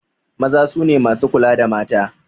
Maza su ne masu kula da mata.